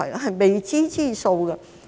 是未知之數。